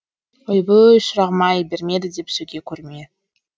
ойбүй шырағым ай бермеді деп сөге көрме